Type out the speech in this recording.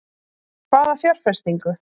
Hvaða fjárfestingu?